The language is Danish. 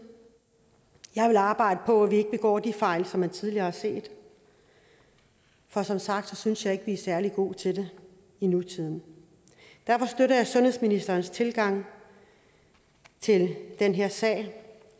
jeg vil arbejde på at vi ikke begår de fejl som man tidligere har set for som sagt synes jeg ikke at vi er særlig gode til det i nutiden derfor støtter jeg sundhedsministerens tilgang til den her sag